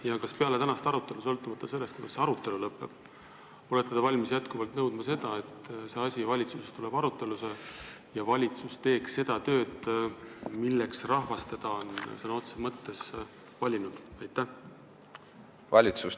Ja kas peale tänast arutelu – sõltumata sellest, kuidas see arutelu lõpeb – olete te valmis jätkuvalt nõudma, et see asi peab valitsuses arutusele tulema ja valitsus peab tegema seda tööd, milleks rahvas teda sõna otseses mõttes valinud on?